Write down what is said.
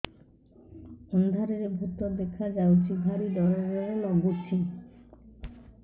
ଅନ୍ଧାରରେ ଭୂତ ଦେଖା ଯାଉଛି ଭାରି ଡର ଡର ଲଗୁଛି